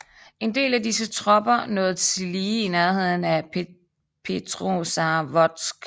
En del af disse tropper nåede tillige til nærheden af Petrozavodsk